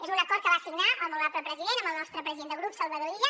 és un acord que va signar el molt honorable president amb el nostre president de grup salvador illa